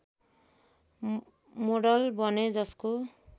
model बने जसको